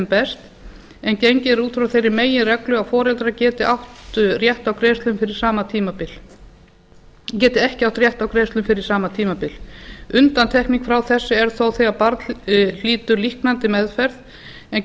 best en gengið er út frá þeirri meginreglu að foreldrar geti ekki átt rétt á greiðslum fyrir sama tímabil undantekning frá þessu er þó þegar barn hlýtur líknandi meðferð en